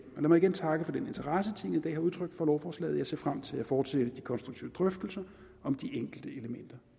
mig igen takke for den interesse tinget i dag har udtrykt for lovforslaget og jeg ser frem til at fortsætte de konstruktive drøftelser om de enkelte elementer